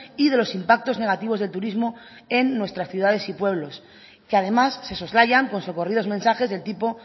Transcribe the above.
y de los impactos negativos del turismo en nuestras ciudades y pueblos que además se soslayan por socorridos mensajes de tipo